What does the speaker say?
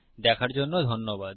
দেখার জন্য ধন্যবাদ